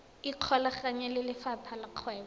ikgolaganye le lefapha la kgwebo